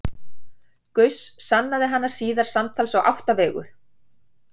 Gauss sannaði hana síðar samtals á átta vegu.